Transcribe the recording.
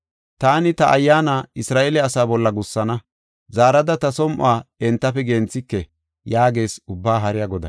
Taani ta Ayyaana Isra7eele asaa bolla gussana; zaarada ta som7uwa entafe genthike” yaagees Ubbaa Haariya Goday.